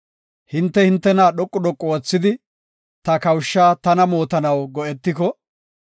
Hinte hintena dhoqu dhoqu oothidi, ta kawusha tana mootanaw go7etiko,